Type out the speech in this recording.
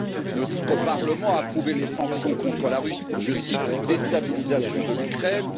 Notre Parlement a approuvé les sanctions contre la Russie pour je cite déstabilisation de l'Ukraine.